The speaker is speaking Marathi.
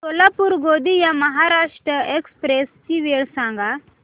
सोलापूर गोंदिया महाराष्ट्र एक्स्प्रेस ची वेळ सांगा